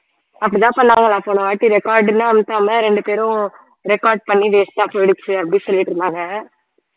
அப்படித்தான் பண்ணாங்களாம் போனவாட்டி record ன்னு அழுத்தாம ரெண்டு பேரும் record பண்ணி waste ஆ போயிடுச்சு அப்படி சொல்லிட்டு இருந்தாங்க